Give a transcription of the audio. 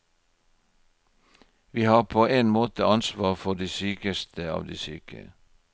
Vi har på en måte ansvar for de sykeste av de syke.